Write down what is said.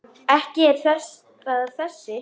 Ekki er það þessi.